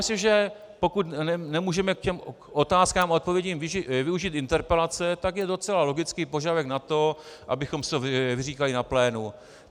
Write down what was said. Myslím, že pokud nemůžeme k těm otázkám a odpovědím využít interpelace, tak je docela logický požadavek na to, abychom si to vyříkali na plénu.